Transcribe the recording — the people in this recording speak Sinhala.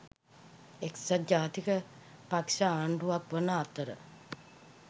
එක්සත් ජාතික පක්ෂ ආණ්ඩුවක් වන අතර